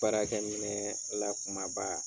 Baarakɛ minɛ lakumaba.